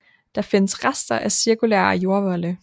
Der findes rester af cirkulære jordvolde